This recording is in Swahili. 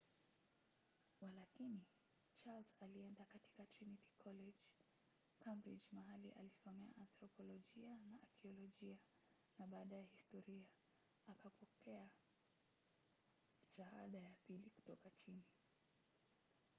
walakini charles alienda katika trinity college cambridge mahali alisomea anthropolojia na akiolojia na baadaye historia akapokea 2:2 shahada ya pili kutoka chini